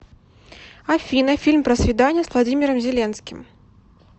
афина фильм про свидания с владимиром зеленским